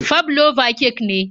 Fabloba kek ne.